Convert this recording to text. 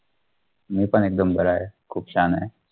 मी पण एकदम बरा आहे, खूप छान आहे.